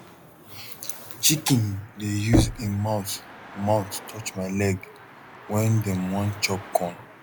chicken dey use em mouth mouth touch my leg wen dem want chop corn